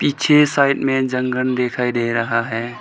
मुझे साइड में एक जंगल दिखाई दे रहा है।